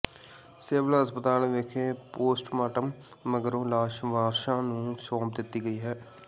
civil ਹਸਪਤਾਲ ਵਿਖੇ postmortem ਮਗਰੋਂ ਲਾਸ਼ ਵਾਰਸਾਂ ਨੂੰ ਸੌਂਪ ਦਿੱਤੀ ਗਈ ਹੈ